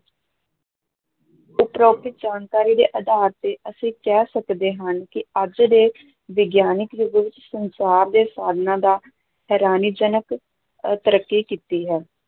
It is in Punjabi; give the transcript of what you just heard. ਉਪਰੋਕਤ ਜਾਣਕਾਰੀ ਦੇ ਆਧਾਰ ਤੇ ਅਸੀ ਕਹਿ ਸਕਦੇ ਹਾਂ ਕਿ ਅੱਜ ਦੇ ਵਿਗਿਆਨਿਕ ਯੁੱਗ ਵਿੱਚ ਸੰਚਾਰ ਦੇ ਸਾਧਨਾਂ ਦਾ ਹੈਰਾਨੀਜਨਕ ਅਹ ਤਰੱਕੀ ਕੀਤੀ ਹੈ।